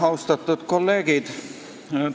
Austatud kolleegid!